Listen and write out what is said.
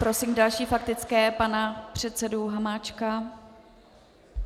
Prosím další faktická - pan předseda Hamáček.